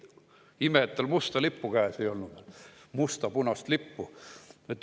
Ime, et tal musta lippu käes ei olnud, must-punast lippu.